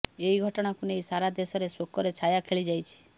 ଏହି ଘଟଣାକୁ ନେଇ ସାରା ଦେଶରେ ଶୋକର ଛାୟା ଖେଳିଯାଇଛି